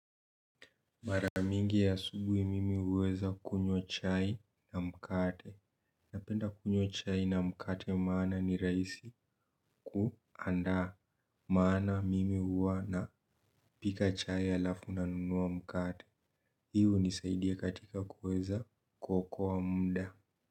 Mara mingi ya asubui mimi huweza kunywa chai na mkate. Napenda kunywa chai na mkate maana ni rahisi kuandaa. Maana mimi huwa n pika chai alafu nanunua mkate. Hii hunisaidia katika kuweza kuokoa muda.